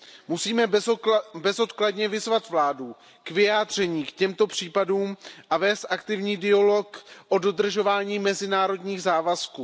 Musíme bezodkladně vyzvat vládu k vyjádření k těmto případům a vést aktivní dialog o dodržování mezinárodních závazků.